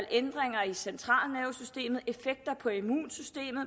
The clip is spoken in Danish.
ændringer i centralnervesystemet effekter på immunsystemet